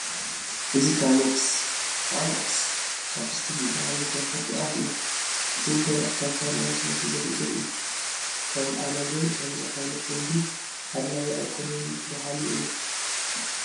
እዚ ከርሜክስ (Carmex) ቻፕስቲክ ዝበሃል ናይ ከንፈር ቅብኣት እዩ፡፡ እዚ ንደረቕ ከንፈር መለስለሲ ዘግልግል እዩ። ከም ኣነ ግን ከምዚ ዓይነት ልምዲ ኣድላዪ ኣይኮነን በሃሊ እየ፡፡